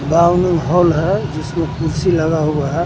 हाल है जिसमें कुर्सी लगा हुआ है।